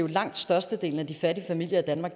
i langt størstedelen af de fattige familier